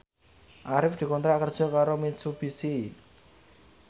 Arif dikontrak kerja karo Mitsubishi